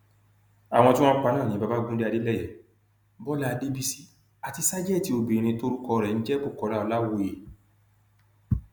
àwọn tí wọn pa náà ni babagunde adeleye bọlá adébísì àti ṣàjètì obìnrin tórúkọ rẹ ń jẹ bukola ọlàwọyé